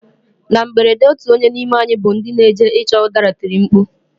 Na mberede otu onye n'ime anyị bụ ndị n'eje ịchọ ụdara tiri mkpu.